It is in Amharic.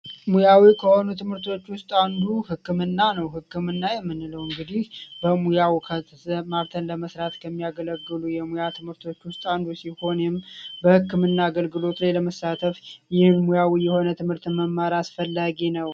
ትምህርቶች ውስጥ አንዱ ክምና ነው ህክምና የምንለው እንግዲህ በሙያው ለመስራት ከሚያገለግሉ የሙያ ትምህርት ክርስቲያንም በህክምና አገልግሎት የሆነ ትምህርት መማር አስፈላጊ ነው